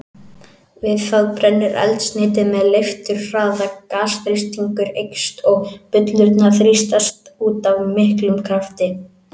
Við það brennur eldsneytið með leifturhraða, gasþrýstingur eykst og bullurnar þrýstast út af miklum krafti.